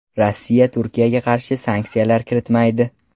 Rossiya Turkiyaga qarshi sanksiyalar kiritmaydi.